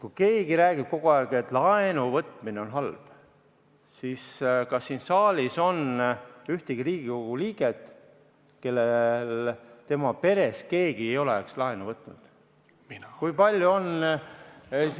Kui keegi räägib kogu aeg, et laenuvõtmine on halb, siis kas siin saalis on ühtegi Riigikogu liiget, kelle peres ei oleks keegi laenu võtnud?